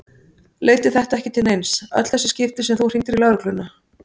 Leiddi þetta ekki til neins, öll þessi skipti sem þú hringdir í lögregluna?